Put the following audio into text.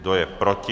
Kdo je proti?